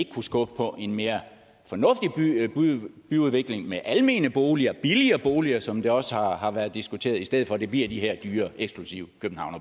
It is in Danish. kunne skubbe på en mere fornuftig byudvikling med almene boliger billigere boliger som det også har har været diskuteret i stedet for at det bliver de her dyre eksklusive